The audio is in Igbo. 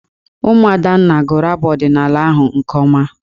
Ụmụ Adanna gụrụ abụ ọdịnaala ahụ nke ọma.